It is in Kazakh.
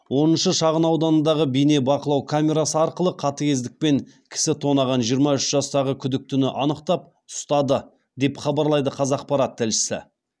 оныншы шағын ауданындағы бейнебақылау камерасы арқылы қатыгездікпен кісі тонаған жиырма үш жастағы күдіктіні анықтап ұстады деп хабарлайды қазақпарат тілшісі